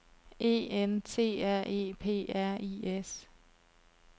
E N T R E P R I S